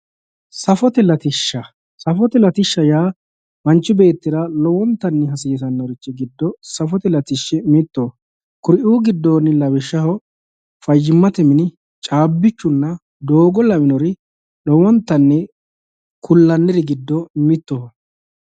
Safote latishsha, safote latishsha yaa manchi beettira lowontanni hasiisanori giddo safote latishshi mittoho kuriu giddo lawishshaho fayyimate mini, cabbichunna doogo lawinori lowontanni ku'lanniri giddo mittoho